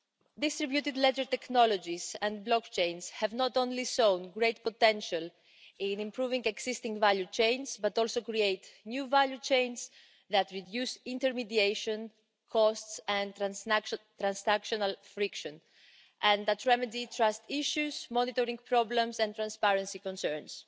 Distributed ledger technologies and blockchains have not only shown great potential in improving existing value chains, but also create new value chains that reduce intermediation costs and transactional friction, and that remedy trust issues, monitoring problems and transparency concerns.